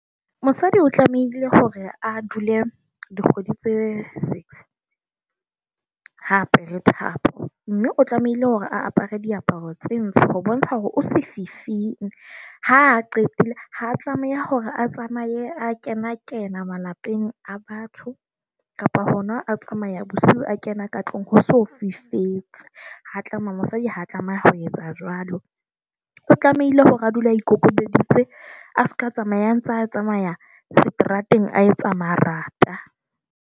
Mosadi o tlamehile hore a dule dikgwedi tse six ha a apare thapo. Mme o tlamehile hore a apere diaparo tse ntsho ho bontsha hore o sefifing. Ha qetile ha tlameha hore a tsamaye a kena, kena malapeng a batho kapo hona a tsamaya bosiu, a kena ka tlong ho so fifetse. Ha tlameha mosadi ha tlameha ho etsa jwalo. O tlamehile hore a dule a ikokobeditse, a seka tsamaya a ntsa tsamaya seterateng, a etsa marata.